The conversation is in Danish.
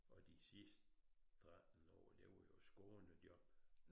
Og de sidst 13 år det var jo skånejob